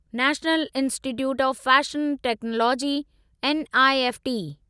national institute of fashion technology NIFT